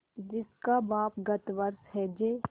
जिसका बाप गत वर्ष हैजे